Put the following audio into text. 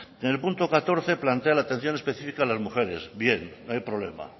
en el punto catorce plantea la atención específica a las mujeres bien no hay problema